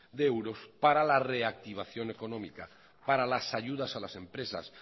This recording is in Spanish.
de euros para la reactivación económica para las ayudas a las empresas